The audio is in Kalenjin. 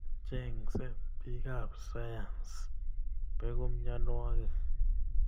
Chengsei bikap sayans, beku mianwokik